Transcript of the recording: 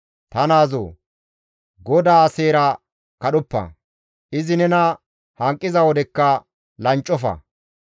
Ta naazoo! GODAA seera kadhoppa; izi nena hanqiza wodekka lanccofa.